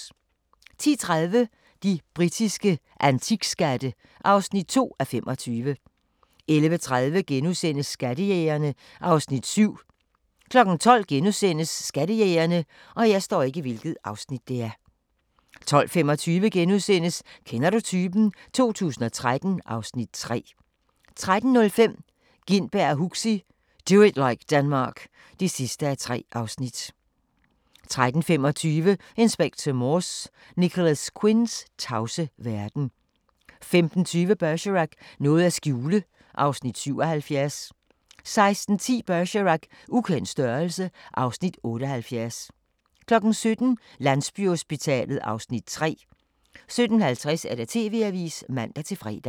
10:30: De britiske antikskatte (2:25) 11:30: Skattejægerne (Afs. 7)* 12:00: Skattejægerne * 12:25: Kender du typen? 2013 (Afs. 3)* 13:05: Gintberg og Huxi – Do it like Denmark (3:3) 13:35: Inspector Morse: Nicholas Quinns tavse verden 15:20: Bergerac: Noget at skjule (Afs. 77) 16:10: Bergerac: Ukendt størrelse (Afs. 78) 17:00: Landsbyhospitalet (Afs. 3) 17:50: TV-avisen (man-fre)